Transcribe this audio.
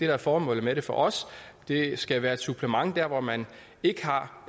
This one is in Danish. er formålet med det for os det skal være et supplement der hvor man ikke har